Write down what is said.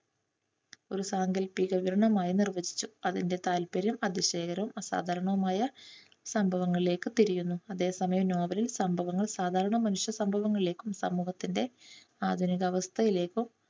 ഒരു സാങ്കല്പിക വിവരണമായി നിർവചിച്ചു. അതിൻറെ താൽപര്യം അതിശയകരവും അസാധാരണവുമായ സംഭവങ്ങളിലേക്ക് തിരിയുന്നു അതേ സമയം നോവൽ സംഭവങ്ങൾ സാധാരണ മനുഷ്യ സംഭവങ്ങളിലേക്കും സമൂഹത്തിൻറെ ആധുനികാവസ്ഥയിലേക്കും